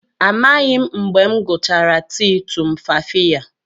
Amaghị m mgbe m gụchara tii tumfafiya